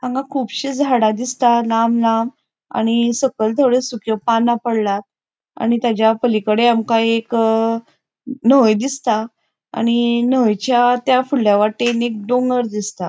हांगा कुबशे झाडा दिसता लांब लांब आणि सकयल थोड्यो सुक्यो पाना पडल्यात आणि तेज्या पलीकडे आमका एक अ न्हय दिसता आणि न्ह्यंच्या त्या फुड़ल्या वाटेन एक डोंगर दिसता.